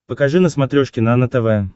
покажи на смотрешке нано тв